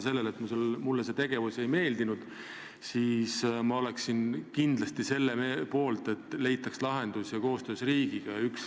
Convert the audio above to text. Selline asi mulle pole meeldinud ja ma olen kindlasti selle poolt, et lõpuks ometi leitaks koostöös riigiga lahendus.